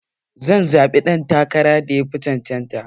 Zan zaɓi ɗan takarar da yafi cancanta